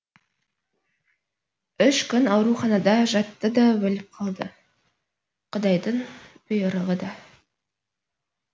үш күн ауруханада жатты да өліп қалды құдайдың бұйрығы да